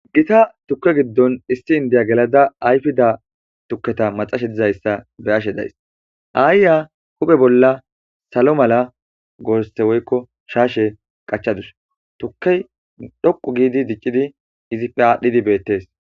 gita tukke giddon issi indiya gelada ayfida tukketa maxashe dizayssa be ashe days aayya huphe bolla salo mala goorse woykko shaashe qachadus tukkey dhoqu giidi diccidi izipfe aadhdhidi beettes